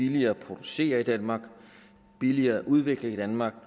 billigere at producere i danmark og billigere at udvikle i danmark